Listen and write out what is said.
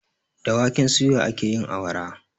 Da waken suya ake yin awara